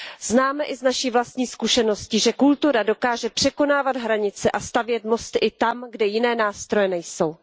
Známe i z naší vlastní zkušenosti, že kultura dokáže překonávat hranice a stavět mosty i tam, kde jiné nástroje nejsou.